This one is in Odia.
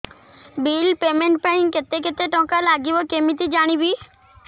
ବିଲ୍ ପେମେଣ୍ଟ ପାଇଁ କେତେ କେତେ ଟଙ୍କା ଲାଗିବ କେମିତି ଜାଣିବି